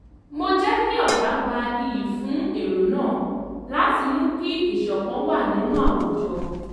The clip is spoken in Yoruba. mo jẹ́ kí ọ̀gá gba iyì fún èrò náà láti mú kí ìṣọ̀kan wà nínú àwùjọ